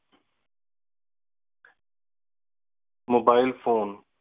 mobile phone